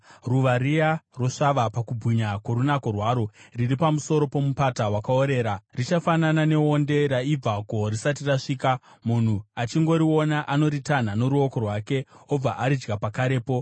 Ruva riya rosvava pakubwinya kworunako rwaro, riri pamusoro pomupata wakaorera, richafanana neonde raibva gohwo risati rasvika, munhu achingoriona, anoritanha noruoko rwake, obva aridya pakarepo.